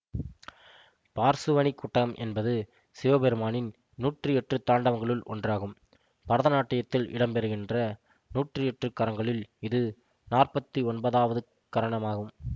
பார்சுவநிகுட்டம் என்பது சிவபெருமானின் நூற்றியெட்டு தாண்டவங்களுள் ஒன்றாகும் பரதநாட்டியத்தில் இடம்பெறுகின்ற நூற்றியெட்டு கரங்களில் இது நாற்பத்து ஒன்பதாவது கரணமாகும்